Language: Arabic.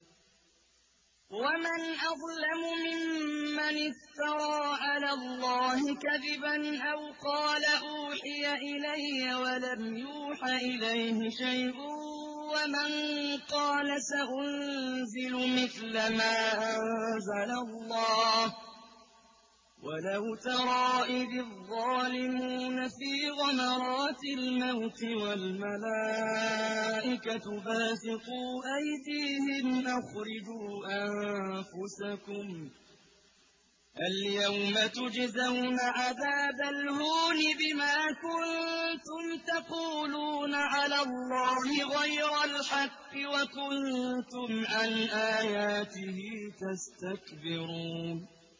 وَمَنْ أَظْلَمُ مِمَّنِ افْتَرَىٰ عَلَى اللَّهِ كَذِبًا أَوْ قَالَ أُوحِيَ إِلَيَّ وَلَمْ يُوحَ إِلَيْهِ شَيْءٌ وَمَن قَالَ سَأُنزِلُ مِثْلَ مَا أَنزَلَ اللَّهُ ۗ وَلَوْ تَرَىٰ إِذِ الظَّالِمُونَ فِي غَمَرَاتِ الْمَوْتِ وَالْمَلَائِكَةُ بَاسِطُو أَيْدِيهِمْ أَخْرِجُوا أَنفُسَكُمُ ۖ الْيَوْمَ تُجْزَوْنَ عَذَابَ الْهُونِ بِمَا كُنتُمْ تَقُولُونَ عَلَى اللَّهِ غَيْرَ الْحَقِّ وَكُنتُمْ عَنْ آيَاتِهِ تَسْتَكْبِرُونَ